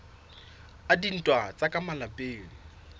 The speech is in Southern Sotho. a dintwa tsa ka malapeng